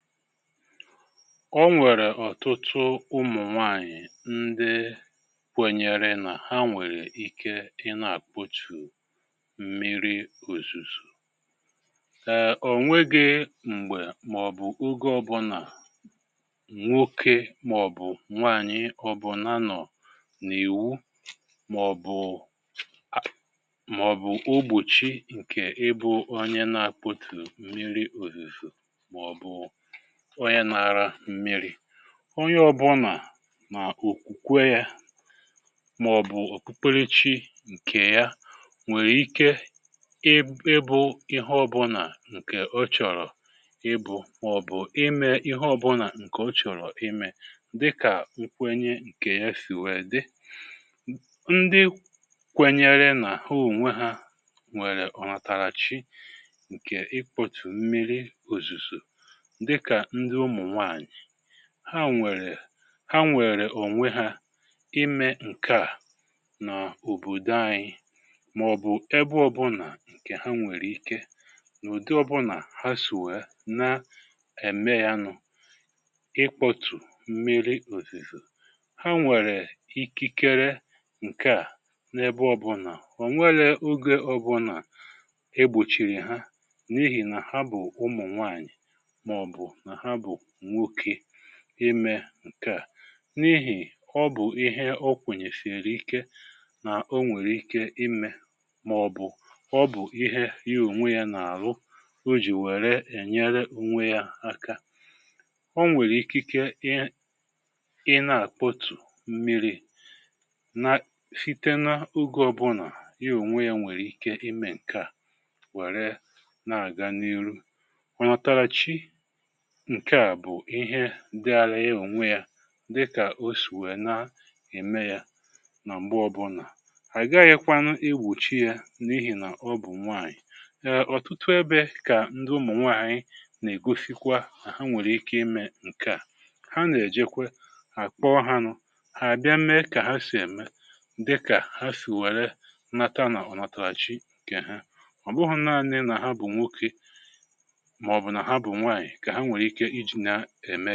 Ọ nwere ọ̀tụtụ ụmụ̀ nwaanyị̀ ndị kwenyere na ha nwere ike ịna-akpọtụ̀ mmiri ọ̀zùzù. um Ọ̀ nweghi m̀gbe maọ̀bụ̀ ọge ọbụ̇na nwọke maọ̀bụ̀ nwaanyị ọbụ̀na nọ̀ n’ìwù maọ̀bụ̀ a maọ̀bụ̀ ọgbùchi nke ibu̇ ọnye na-akpọtụ mmiri ọ̀zùzù maọ̀bụ̀ ọnye na-ara mmi̇ri̇. Ọnye ọ̇bụ̇na na ọ̀kwùkwe ya maọ̀bụ̀ ọ̀kpụkpere chi nke ya nwere ike ị ị bụ ihe ọ̇bụ̇na nke ọ chọ̀rọ̀ ị bụ̇ maọ̀bụ̀ ime ihe ọ̇bụ̇na nke ọ chọ̀rọ̀ ime dịka nkwenye nke ya sì wee dị. Ndị kwenyere na ha onwe ha ùwe ha nwere ọ̀ natara chi nke ị kpọtụ̀ mmiri ọ̀zùzọ̀ dịka ndị ụmụ nwaanyị ha nwere ha nwere ọ̀nwe ha ime nke a nọ̀ ọ̀bọ̀dọ̀ anyi maọ̀bụ̀ ebe ọ̀bụna nke ha nwere ike n’ụ̀dị ọ̀bụna ha si wee na-eme yanụ̇ ịkpọtù mmiri ọ̀zìzọ̀. Ha nwere ikikere nke a n’ebe ọ̀bụna. Ọ̀ nwele ọge ọbụna egbọchìrì ha n’ihì na ha bụ̀ ụmụ̀ nwaanyì maọbụ na ha bụ nwọke ime nkea n’ihì ọ bụ̀ ihe ọ kwenyesìrì ike na ọ nwere ike ime maọ̀bụ̀ ọ bụ̀ ihe ya ọ̀nwe ya n’alụ ọ jì were enyere ọ̀nwe ya aka. Ọ nwere ikeke i na-akpọtụ̀ mmiri̇ na-sitena ọge ọbụna ya ọ̀nwe ya nwere ike ime nkea were na-aga n’irụ. Ọ̀ natara chi nkea bụ ihe dịálị ya ọ̀nwe ya dịka ọ sì wee na-eme ya na mgbe ọbụ̇na. Agaghịkwanụ egbọchi ya n’ihì na ọ bụ̀ nwaanyị̀, na ọ̀tụtụ ebe ka ndụ ụmụ̀ nwaanyị na-egọsikwa na ha nwere ike ime nkea ha ne-ejekwe akpọ ha nụ̇, ha bịa mee ka ha sì eme dịka ha sìwere nnata na ọnọtarachị nke ha. Ọ̀bụghọ̇ naanị na ha bụ̀ nwọke maọbụ na ha bụ nwaanyi ka ha were ike iji na eme.